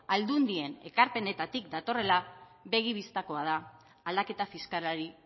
aldundien ekarpenetatik datorrela begi bistakoa da aldaketa fiskalari